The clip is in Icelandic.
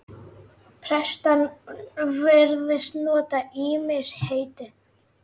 Prestar virðast nota ýmis heiti.